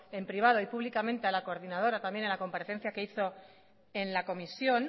en privado y públicamente a la coordinadora también a la comparecencia que hizo en la comisión